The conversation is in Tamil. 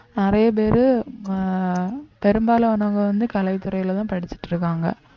நிறைய பேரு அஹ் பெரும்பாலானவங்க வந்து கலைத்துறையிலேதான் படிச்சுட்டு இருக்காங்க